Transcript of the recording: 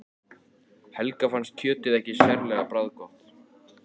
Helga fannst kjötið ekki sérlega bragðgott.